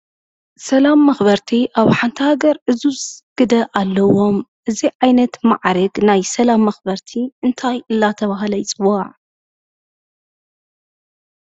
ሰላም መኽበርቲ ኣብ ሓንቲ ሃገር ዕዙዝ ግደ ኣለዎም፡፡ እዚ ዓይነት ማዕርግ ናይ ሰላም መኽበርቲ እንታይ እናተባህለ ይፅዋዕ?